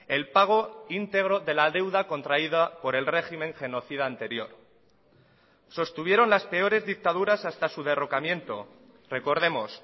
el pago íntegro de la deuda contraída por el régimen genocida anterior sostuvieron las peores dictaduras hasta su derrocamiento recordemos